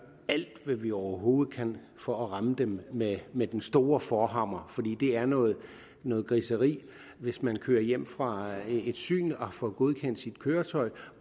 alt hvad vi overhovedet kan for at ramme dem med med den store forhammer for det er noget noget griseri hvis man kører hjem fra et syn og har fået godkendt sit køretøj